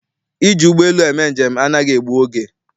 Iji ụgbọelu eme njem anaghị egbu oge.